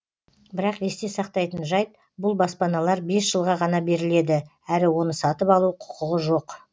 бірақ есте сақтайтын жайт бұл баспаналар бес жылға ғана беріледі әрі оны сатып алу құқығы жоқ